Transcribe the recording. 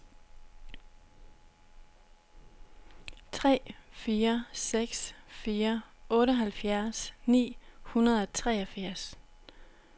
tre fire seks fire otteoghalvfjerds ni hundrede og treogfirs